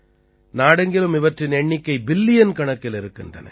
நாடெங்கிலும் இவற்றின் எண்ணிக்கை பில்லியன்கணக்கில் இருக்கின்றன